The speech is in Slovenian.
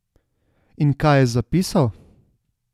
In kaj je zapisal?